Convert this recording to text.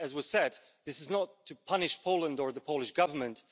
As has been said, this is not to punish Poland or the Polish Government.